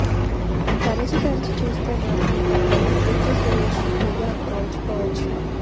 తరచి తరచి చూస్తే మాత్రం ఆ కళ్లు కీర్తిసురేష్ విగా పోల్చుకోవచ్చు